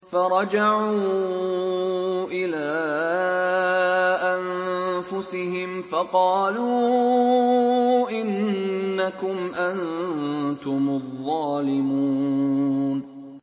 فَرَجَعُوا إِلَىٰ أَنفُسِهِمْ فَقَالُوا إِنَّكُمْ أَنتُمُ الظَّالِمُونَ